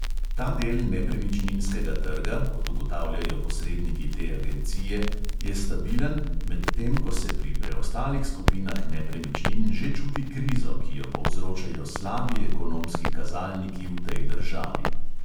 Ta del nepremičninskega trga, kot ugotavljajo posredniki te agencije, je stabilen, medtem ko se pri preostalih skupinah nepremičnin že čuti krizo, ki jo povzročajo slabi ekonomski kazalniki v tej državi.